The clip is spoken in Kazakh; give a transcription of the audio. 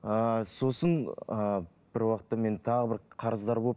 ыыы сосын ы бір уақытта мен тағы бір қарыздар болып